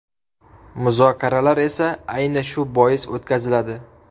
Muzokaralar esa, ayni shu bois o‘tkaziladi.